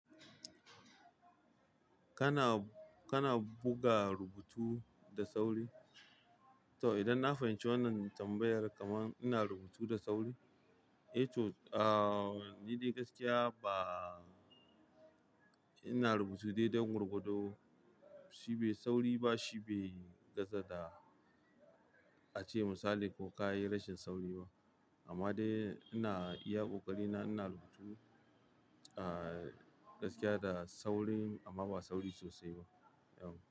Kana, kana buga rubutu da sauri? To idan na fahimci wannan tambayar kaman ina rubutu da sauri, eh to, ah, ni dai gaskiya ba, ina rubutu dai don gwar gwado shi bai sauri ba shi bai gaza da a ce misali ko ka yi rashin sauri ba. Amma dai ina iya ƙoƙari na ina rubutu, ah, gaskiya da sauri amma ba sauri sosai ba, yauw.